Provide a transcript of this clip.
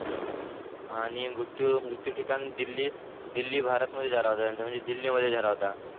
आणि मृत्यू मृत्यू ठिकाण दिल्ली दिल्ली भारत भारत मध्ये झाला होता म्हणजे दिल्लीमध्ये झाला होता